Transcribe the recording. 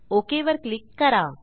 okay वर click करा